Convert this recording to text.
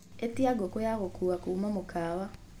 atia ngũkũ ya gukuwa kuma mukawa